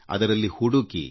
ಅದರಲ್ಲಿ ಹುಡುಕಿ